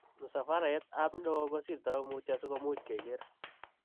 msafaretab ne o kisirto mutyo si kemuch kegeer.